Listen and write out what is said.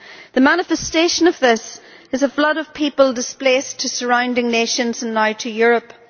The manifestation of this is a flood of people displaced to surrounding nations and now to Europe.